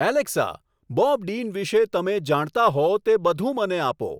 Alexa Bob Dean વિષે તમે જાણતા હો તે બધું મને આપો